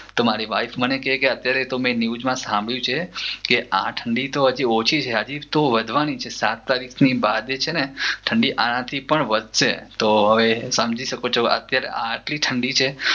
તો મારી વાઇફ મને કે મે ન્યૂઝમાં સાંભર્યું છે કે આ ઠંડી તો હજી ઓછી છે હજી તો વધવાની છે સાત તારીખની બાદ જે છે ને ઠંડી આનાથી પણ વધશે તો આવે તમે સમજી સકો છો ત્યાંરે આટલી ઠંડી છે